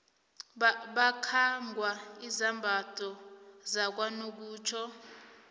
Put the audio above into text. bakhangwa izambatho zakanokutjho